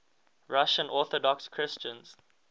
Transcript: russian orthodox christians